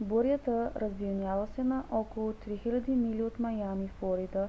бурята развилняла се на около 3000 мили от маями флорида